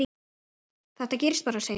Þetta gerist bara, segir hann.